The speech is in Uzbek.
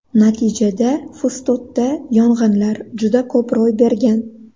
Natijada Fustotda yong‘inlar juda ko‘p ro‘y bergan.